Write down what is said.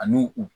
Ani u